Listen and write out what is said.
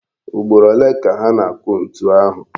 Ugboro ole ka ha na-akụ ntu ahụ?